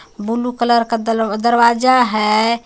Blue colour का दरवाजा हे.